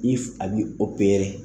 I a bi .